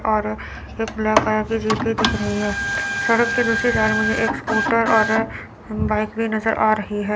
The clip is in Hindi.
और एक ब्लैक कलर की जीप भी दिख रही है। सड़क के दूसरी तरफ मुझे एक स्कूटर और बाइक भी नज़र आ रही है।